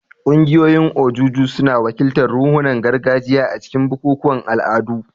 Ƙungiyoyin ojuju suna wakiltar ruhunan gargajiya a cikin bukukuwan al'adu.